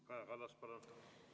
Kaja Kallas, palun!